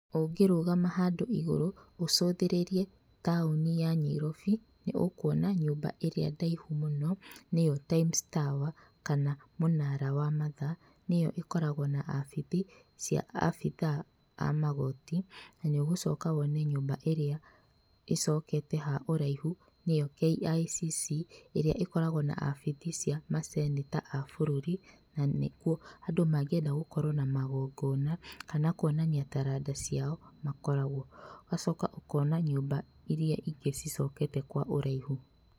Ũngĩrũgama handũ igũrũ ũcũthĩrĩrie taũni ya Nyairobi nĩ ũkwona nyũmba ĩrĩa ndaihu mũno nĩyoTimes Tower kana Mũnara wa Mathaa nĩyo ĩkoragwo na abithi cia abithaa amagoti na nĩũgũcoka wone nyũmba ĩrĩa icokete ha ũraihu nĩyo KICC, ĩrĩa ĩkoragwo na abithii cia seneta abũrũri na nĩkuo andũ mangĩenda gũkorwa na magongona kana kwonania taranda ciao makoragwo. Ũgacoka ũkona nyũmba iria ingĩ icokete kwa ũraihu.